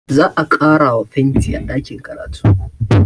Za a ƙarawa fenti a ɗakin karatu